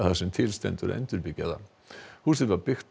sem til stendur að endurbyggja það húsið var byggt